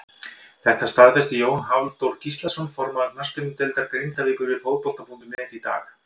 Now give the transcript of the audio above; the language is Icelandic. Þetta staðfesti Jón Halldór Gíslason formaður knattspyrnudeildar Grindavíkur við Fótbolta.net í dag.